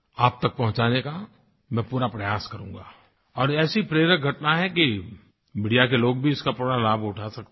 आप तक पहुँचाने का मैं पूरा प्रयास करूँगा और ऐसी प्रेरक घटना है कि मीडिया के लोग भी इसका पूरा लाभ उठा सकते हैं